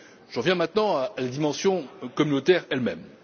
J'en viens maintenant à la dimension communautaire elle même.